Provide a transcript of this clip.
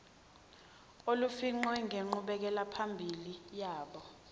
olufingqiwe ngenqubekelaphambili yabo